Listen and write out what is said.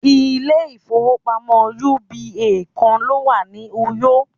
ilé ifowópamọ́ uba kan lo wa ni uyo